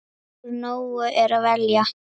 Úr nógu er að velja!